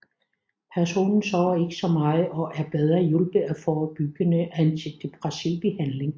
Personen sover ikke så meget og er bedre hjulpet af forebyggende antidepressiv behandling